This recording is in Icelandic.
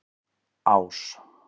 Ás